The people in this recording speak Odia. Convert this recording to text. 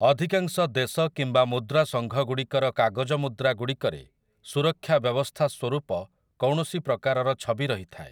ଅଧିକାଂଶ ଦେଶ କିମ୍ବା ମୁଦ୍ରା ସଙ୍ଘଗୁଡ଼ିକର କାଗଜ ମୁଦ୍ରା ଗୁଡ଼ିକରେ ସୁରକ୍ଷା ବ୍ୟବସ୍ଥା ସ୍ୱରୂପ କୌଣସି ପ୍ରକାରର ଛବି ରହିଥାଏ ।